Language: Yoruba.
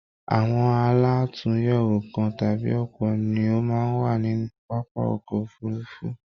Àwọn àlatúnyẹwò kàn tàbí ọpọ ni o máa n wa nínú pápá ọkọ òfurùnfu